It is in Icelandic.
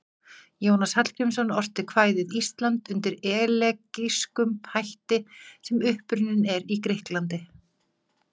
Jónas Hallgrímsson orti kvæðið Ísland undir elegískum hætti sem upprunninn er í Grikklandi.